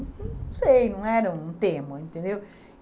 Não sei, não era um tema, entendeu?